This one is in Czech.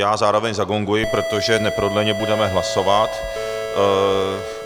Já zároveň zagonguji, protože neprodleně budeme hlasovat.